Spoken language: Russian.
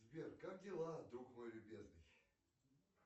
сбер как дела друг мой любезный